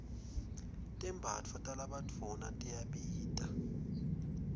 tembatfo talabadvuna tiyabita